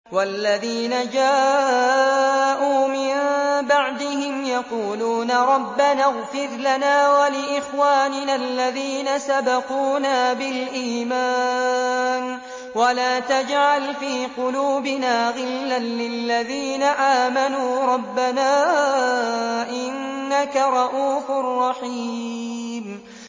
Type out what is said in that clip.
وَالَّذِينَ جَاءُوا مِن بَعْدِهِمْ يَقُولُونَ رَبَّنَا اغْفِرْ لَنَا وَلِإِخْوَانِنَا الَّذِينَ سَبَقُونَا بِالْإِيمَانِ وَلَا تَجْعَلْ فِي قُلُوبِنَا غِلًّا لِّلَّذِينَ آمَنُوا رَبَّنَا إِنَّكَ رَءُوفٌ رَّحِيمٌ